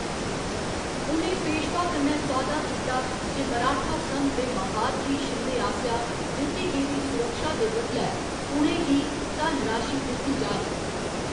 उ'नें पेशवा कन्नै सौदा कीता जे मराठा संघ दे महादजी शिंदे आसेआ दित्ती गेदी सुरक्षा दे बदलै पुणे गी धन राशि दित्ती जाह्‌ग।